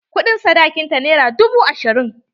Kuɗin sadakin ta nera dubu ashirin.